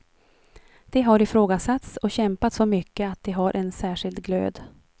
De har ifrågasatts och kämpat så mycket att de har en särskild glöd.